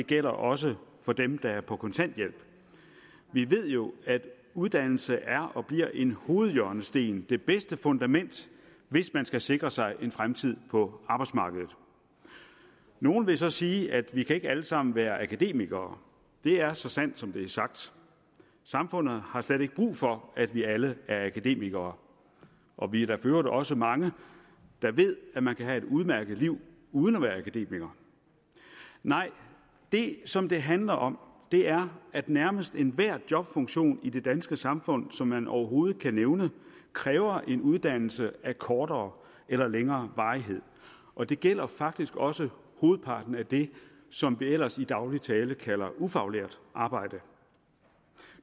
det gælder også for dem der er på kontanthjælp vi ved jo at uddannelse er og bliver en hovedhjørnesten det bedste fundament hvis man skal sikre sig en fremtid på arbejdsmarkedet nogle vil så sige at vi ikke alle sammen kan være akademikere det er så sandt som det er sagt samfundet har slet ikke brug for at vi alle er akademikere og vi er da for øvrigt også mange der ved at man kan have et udmærket liv uden at være akademiker nej det som det handler om er at nærmest enhver jobfunktion i det danske samfund som man overhovedet kan nævne kræver en uddannelse af kortere eller længere varighed og det gælder faktisk også hovedparten af det som vi ellers i daglig tale kalder ufaglært arbejde